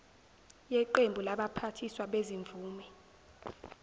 yeqembu labaphathiswa bezimvume